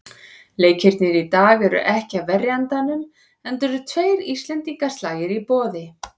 Leikirnir í dag eru ekki af verri endanum, enda eru tveir íslendingaslagir í boði.